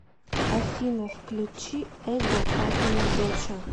афина включи эго папина доча